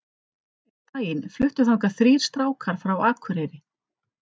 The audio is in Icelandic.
Einn daginn fluttu þangað þrír strákar frá Akureyri.